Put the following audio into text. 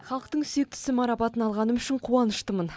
халықтың сүйіктісі марапатын алғаным үшін қуаныштымын